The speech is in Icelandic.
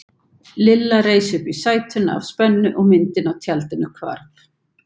Lilla reis upp í sætinu af spennu og myndin á tjaldinu hvarf.